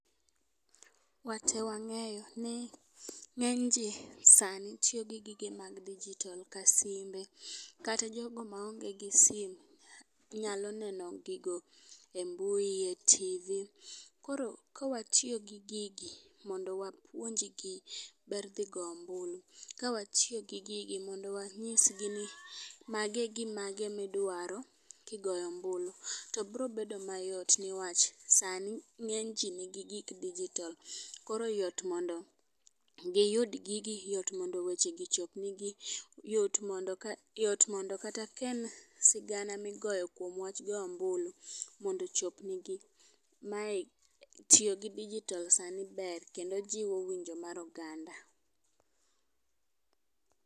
Wate wang'eyo ni ng'eny jii sani tiyo gi gige mag digital ka simbe . Kata jogo maonge gi sim nyalo neno gigo e mbui e tivi. Koro ka watiyo gi gigi mondo wapuonjgi ber dhi goyo ombulu, koro ka watiyo gi gigi mondo wanyisgi ni magi e gimage midwaro kidhi goyo Tombulu. to bro bedo mayot newach sani ng'eny jii nigi gik digital koro yot mondo giyud gigi yot mondo weche gi chop negi, yot mondo kata ka en sigana migoyo kuom wach goyo ombulu mondo ochopnegi. Mae \ tiyo gi digital sani ber kendo jiwo winjo mag oganda.